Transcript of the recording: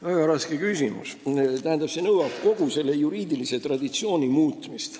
Väga raske küsimus – see nõuaks kogu juriidilise traditsiooni muutmist.